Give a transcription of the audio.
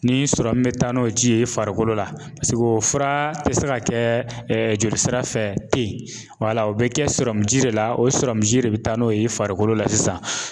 Ni be taa n'o ji ye farikolo la. Paseke o fura te se ka kɛ joli sira fɛ ten wala o be kɛ ji de la, o sɔrɔmuji de be taa n'o ye farikolo la sisan.